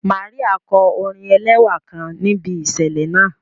Màríà kọ orin ẹlẹ́wà kan níbi ìṣẹ̀lẹ̀ náà